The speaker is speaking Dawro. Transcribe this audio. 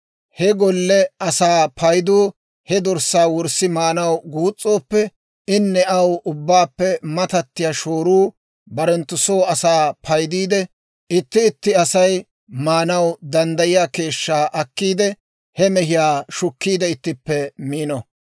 He golle asaa paydu he dorssaa wurssi maanaw guus's'ooppe, inne aw ubbaappe matattiyaa shooruu barenttu soo asaa paydiide itti itti Asay maanaw danddayiyaa keeshshaa akeekiide, he mehiyaa shukkiide ittippe miino.